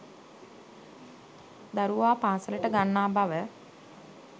දරුවා පාසලට ගන්නා බව